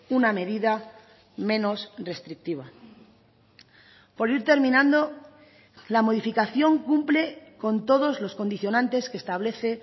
una medida menos restrictiva por ir terminando la modificación cumple con todos los condicionantes que establece